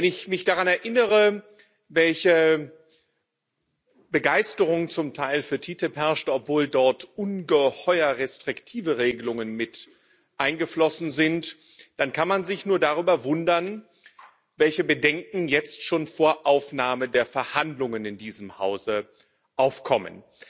Wenn ich mich daran erinnere, welche Begeisterung zum Teil für TTIP herrschte, obwohl dort ungeheuer restriktive Regelungen mit eingeflossen sind, dann kann man sich darüber nur wundern, welche Bedenken jetzt schon vor Aufnahme der Verhandlungen in diesem Hause aufkommen.